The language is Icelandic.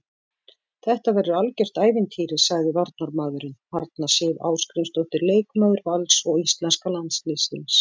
Þetta verður algjört ævintýri, sagði varnarmaðurinn, Arna Sif Ásgrímsdóttir leikmaður Vals og íslenska landsliðsins.